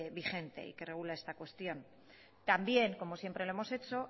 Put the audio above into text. vigente y que regula esta cuestión también como siempre lo hemos hecho